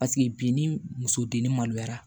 Paseke bi ni muso denni maloyara